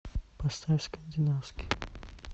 поставь скандинавский